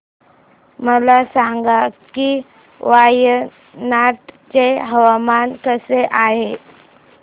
मला सांगा की वायनाड चे हवामान कसे आहे